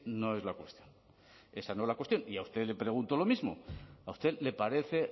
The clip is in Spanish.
no es la cuestión esa no es la cuestión y a usted le pregunto lo mismo a usted le parece